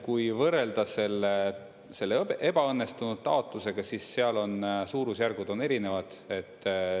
Kui võrrelda selle ebaõnnestunud taotlusega, siis seal on suurusjärgud erinevad.